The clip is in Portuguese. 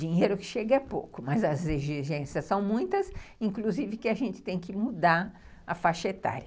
Dinheiro que chega é pouco, mas as exigências são muitas, inclusive que a gente tem que mudar a faixa etária.